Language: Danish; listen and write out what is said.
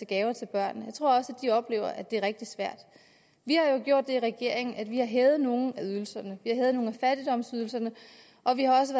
gaver til børnene oplever at det er rigtig svært vi har jo gjort det i regeringen at vi har hævet nogle af ydelserne vi hævet nogle af fattigdomsydelserne og vi har også